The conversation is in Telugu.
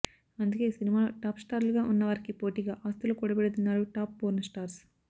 అందుకే సినిమాలో టాప్ స్టార్లుగా ఉన్నవారికి పోటిగా ఆస్తులు కూడబెడుతున్నారు టాప్ పోర్న్ స్టార్స్